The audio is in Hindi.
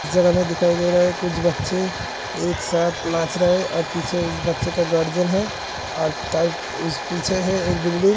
इस जगह मे दिखाई दे रहा है | कुछ बच्चे एक साथ नाच रहे हैं और एक बच्चे का गार्जियन है और पीछे है एक बिल्डिंग --